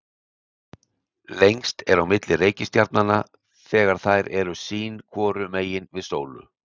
lengst er á milli reikistjarnanna þegar þær eru sín hvoru megin við sól